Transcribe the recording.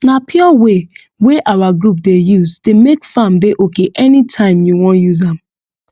na pure way wey our group dey use dey make farm dey okay anytime you wan use am